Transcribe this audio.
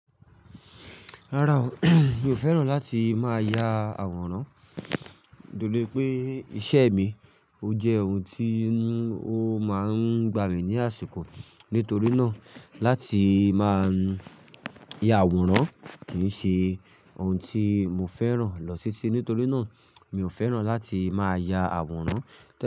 Rárá o mi ò fẹ́ràn láti máa ya àwòrán, dolé pé iṣẹ́ mi ó jẹ́ ohun tí ó máa ń gba mi ní àsìkò. Nítorí náà, láti máa ya àwòrán kì í ṣe ohun tí mo fẹ́ràn lọ titi. Nítorí náà, mi ò fẹ́ràn láti máa ya àwòrán.